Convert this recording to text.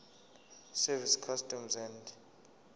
service customs and